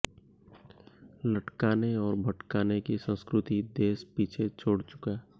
लटकाने और भटकाने की संस्कृति देश पीछे छोड़ चुका